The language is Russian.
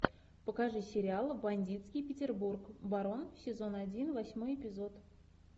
покажи сериал бандитский петербург барон сезон один восьмой эпизод